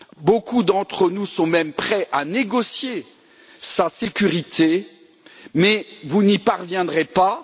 Beaucoup d'entre nous sont même prêts à négocier sa sécurité, mais vous n'y parviendrez pas.